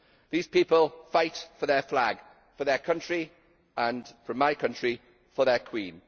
These people fight for their flag, for their country and, from my country, for their Queen.